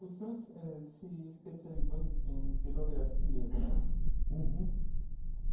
O senhor se eh se especializou em em pirografia, né? Uhum